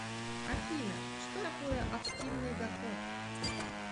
афина что такое активный доход